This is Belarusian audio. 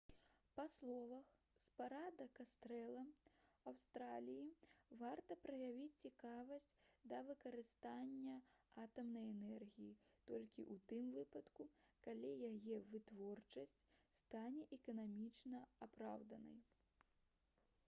па словах спадара кастэла аўстраліі варта праявіць цікавасць да выкарыстання атамнай энергіі толькі ў тым выпадку калі яе вытворчасць стане эканамічна апраўданай